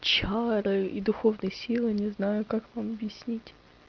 чары и духовные силы не знаю как вам объяснить